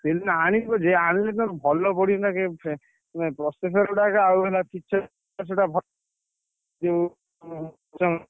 EMI ଆଣିବ ଯେ ଆଣିଲେ Realme ଭଲ ପଡିବ କି ନା processor ମାନେ ଗୁଡାକ ଆଉ ହେଲା picture ଯୋଉ ।